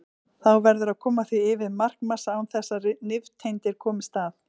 Þá verður að koma því yfir markmassa án þess að nifteindir komist að.